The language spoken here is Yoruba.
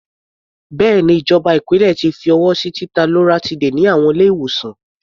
Bẹ́ẹ̀ni, ìjọba ìpínlẹ̀ ti fi ọwọ́ sí títa loratiday ní àwọn ilé-ìwòsàn.